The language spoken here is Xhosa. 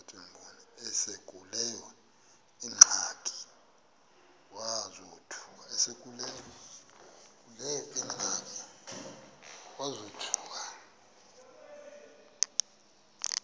esekuleyo ingxaki wazothuka